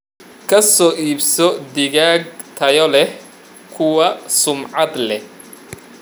Ka soo iibso digaag tayo leh kuwa sumcad leh.